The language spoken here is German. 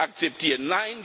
akzeptieren.